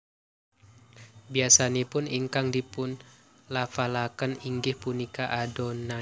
Biasanipun ingkang dipunlafalaken inggih punika Adonai